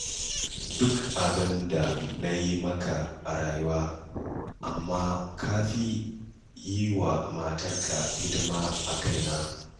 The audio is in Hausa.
Duk abin da na yi maka a rayuwa, amma ka fi yi wa matarka hidima a kaina